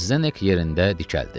Zdenek yerində dikəldi.